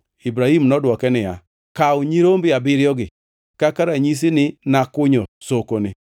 Ibrahim nodwoke niya, “Kaw nyirombe abiriyogi kaka ranyisi ni nakunyo sokoni.”